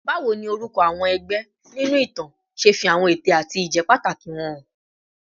Báwo ni orúkọ àwọn ẹgbẹ́ nínú ìtàn ṣe fi àwọn ète àti ìjẹ́pàtàkì wọn hàn?